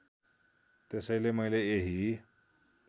त्यसैले मैले यही